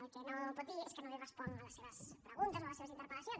el que no pot dir és que no li responc a les seves preguntes o a les seves interpel·lacions